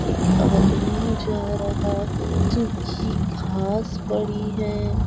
एक आदमी जा रहा है सूखी घास पड़ी है।